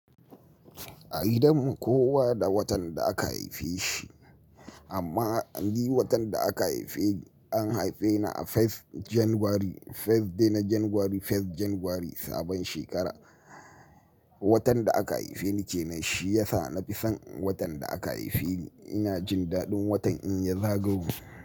A gidan mu kowa da watan da aka haife shi, amma ni watan da aka haife ni an haife ni a First January First day na January First January sabon shekara. Watan da aka haife ni kenan shi yasa na fi son watan da aka haife ni. Ina jin daɗin watan in ya zagayo.